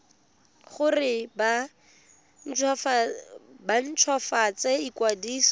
gore ba nt hwafatse ikwadiso